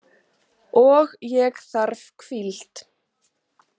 Og ég þarf hvíld.